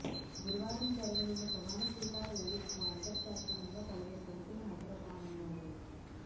గురువారం జరగనున్న ప్రమాణ స్వీకార వేడుకకు అంతర్జాతీయంగా పలువురు ప్రముఖులు హాజరు కానున్నారు